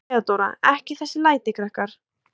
THEODÓRA: Ekki þessi læti, krakkar.